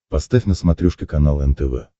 поставь на смотрешке канал нтв